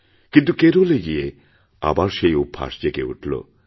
কিন্তু কেরলে গিয়ে আবার সেই অভ্যাস জেগেউঠল